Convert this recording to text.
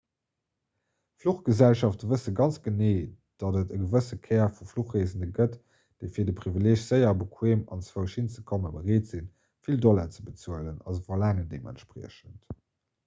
fluchgesellschafte wësse ganz genee datt et e gewësse kär vu fluchreesende gëtt déi fir de privileeg séier a bequeem anzwousch hinzekommen bereet sinn vill dollar ze bezuelen a se verlaangen deementspriechend